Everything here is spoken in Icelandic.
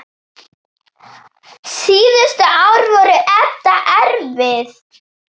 Síðustu ár voru Edda erfið.